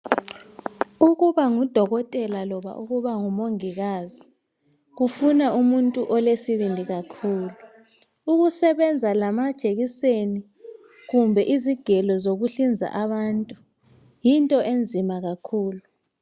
Kuba ngudokotela loba ukuba umongikazi kufuna umuntu olesibindi kakhulu ukusebenza lamajekiseni kumbe izigelo zokuhlinza abantu yinto enzima kakhulu